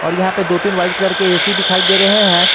और यहां पे दो तीन वाइट कलर के ए_सी दिखाई दे रहे हैं।